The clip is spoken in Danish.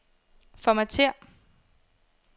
Formatér.